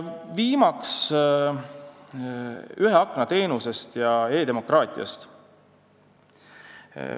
Viimaks räägin nn ühe akna teenusest ja e-demokraatiast.